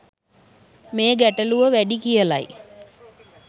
මේ ගැටලුව වැඩි කියලයි